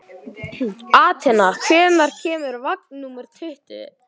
Atena, hvenær kemur vagn númer tuttugu?